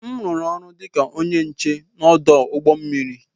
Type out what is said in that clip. M rụrụ ọrụ dị ka onye nche ọdụ ụgbọ mmiri.